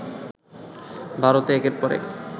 ভারতে একের পর এক